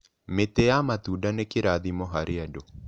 Mĩtĩ ya matunda nĩ kĩrathimo harĩ andũ.